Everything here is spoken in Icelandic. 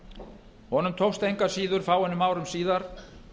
króna honum tókst engu að síður fáeinum árum síðar